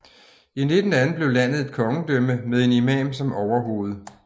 I 1918 blev landet et kongedømme med en imam som overhoved